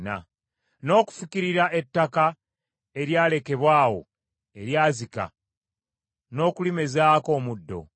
n’okufukirira ettaka eryalekebwa awo, eryazika, n’okulimezaako omuddo?